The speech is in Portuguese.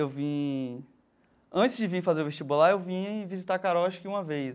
Eu vim... Antes de vim fazer o vestibular, eu vim visitar Carol, acho que uma vez.